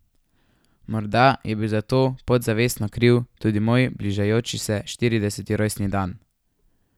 Morda je bil za to podzavestno kriv tudi moj bližajoči se štirideseti rojstni dan.